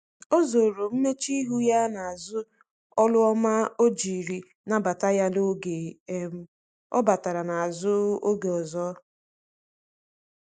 o zoro mmechuihu ya na azu olu ọma ojiri nabata ya oge um ọ batara na azụ oge ọzọ